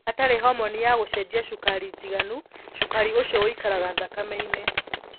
Hatarĩ homoni ya gũcenjia cukari njiganu, cukari ũcio wũikaraga thakame-inĩ.